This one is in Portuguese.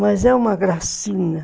Mas é uma gracinha.